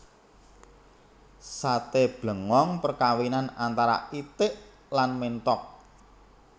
Sate blengong perkawinan antara itik lan menthok